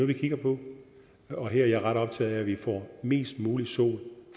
vi kigger på og her er jeg ret optaget af at vi får mest muligt solenergi